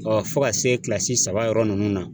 Ɔ fɔ ka se kilasi saba yɔrɔ ninnu na